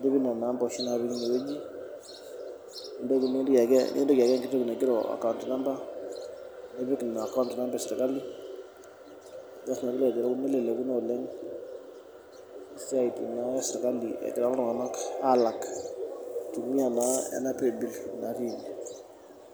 nilo nena ampa oshi napiki inewejinikintoki ayaki entoki naji account number nipik ina account number esirkali. Neleleku naa oleng esiai naa esirkali egira na iltunganak alak eitumiyia naa ena paybil natii.